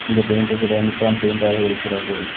இந்த பெயிண்ட் கடை Nippon paint ஆக இருக்கிறது.